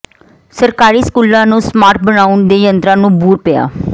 ਸਰਕਾਰੀ ਸਕੂਲਾਂ ਨੂੰ ਸਮਾਰਟ ਬਣਾਉਣ ਦੇ ਯਤਨਾਂ ਨੂੰ ਬੂਰ ਪਿਆ